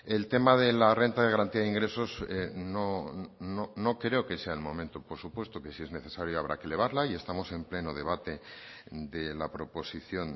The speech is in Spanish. el tema de la renta de garantía de ingresos no creo que sea el momento por supuesto que si es necesaria habrá que elevarla y estamos en pleno debate de la proposición